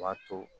B'a to